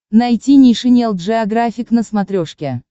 найти нейшенел джеографик на смотрешке